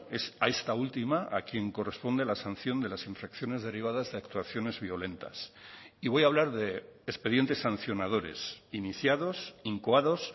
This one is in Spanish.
es a esta última a quien corresponde la sanción de las infracciones derivadas de actuaciones violentas y voy a hablar de expedientes sancionadores iniciados incoados